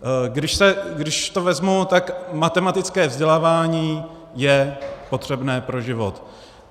Když to vezmu, tak matematické vzdělávání je potřebné pro život.